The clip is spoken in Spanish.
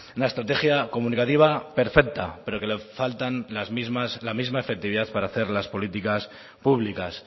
una estrategia comunicativa perfecta pero que le falta la misma efectividad para hacer las políticas públicas